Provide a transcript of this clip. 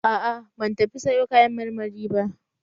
A'a ban tafi sayo kayan marmari ba